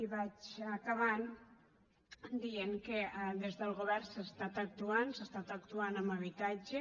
i vaig acabant dient que des del govern s’ha estat actuant s’ha estat actuant en habitatge